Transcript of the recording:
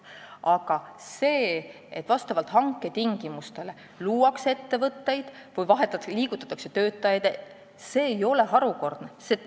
Aga see, et vastavalt hanke tingimustele luuakse ettevõtteid või liigutatakse töötajaid, ei ole harukordne.